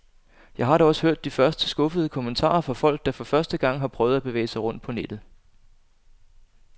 Jeg har da også hørt de første skuffede kommentarer fra folk, der for første gang har prøvet at bevæge sig rundt på nettet.